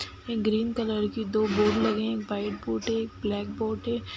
एक green colour की दो बोर्ड लगी हैं। एक व्हाइट बोर्ड है। एक ब्लैक बोर्ड है।